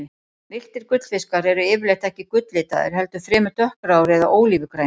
Villtir gullfiskar eru yfirleitt ekki gulllitaðir, heldur fremur dökkgráir eða ólífugrænir.